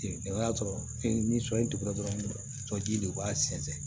O y'a sɔrɔ ni sɔ ye dugu la dɔrɔn ji de b'a sɛnsɛn